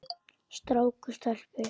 Strák og stelpu.